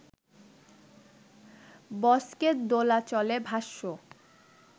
বস্কের দোলাচলে ভাষ্য